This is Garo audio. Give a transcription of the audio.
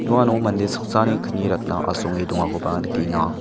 noano mande saksani kni ratna asonge dongakoba nikenga.